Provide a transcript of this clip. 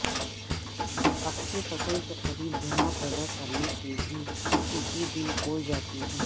اپنی فصل کے قریب دھواں پیدا کرنے سے بھی ٹڈی دل اڑ جاتی ہے